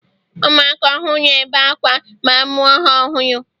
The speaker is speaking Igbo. ụmụaka ọhụrụ ebe akwa ma amụ ha ọhụrụ